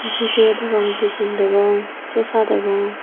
jigey degong bigun degong chocha degong.